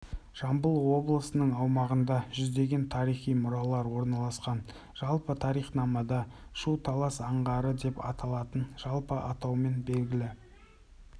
жамбыл облысыныңаумағында жүздеген тарихи мұралар орналасқан жалпы тарихнамада шу талас аңғары деп аталатын жалпы атаумен белгілі